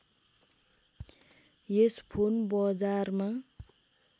यस phone बजारमा